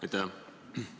Aitäh!